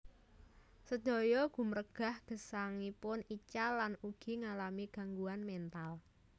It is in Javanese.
Sedaya gumregah gesangipun ical lan ugi ngalami gangguan mental